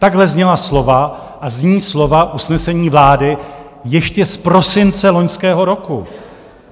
Takhle zněla slova a zní slova usnesení vlády ještě z prosince loňského roku.